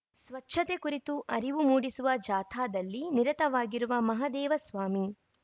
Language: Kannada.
ಸ್ವಚ್ಛತೆ ಕುರಿತು ಅರಿವು ಮೂಡಿಸುವ ಜಾಥಾದಲ್ಲಿ ನಿರತವಾಗಿರುವ ಮಹದೇವಸ್ವಾಮಿ